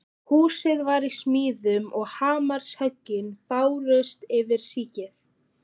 Hús var í smíðum og hamarshöggin bárust yfir síkið.